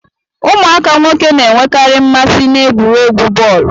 Ụmụaka nwoke na-enwekari mmasị na egwuregwu bọọlu